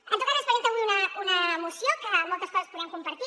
en tot cas ens presenta avui una moció que moltes coses podem compartir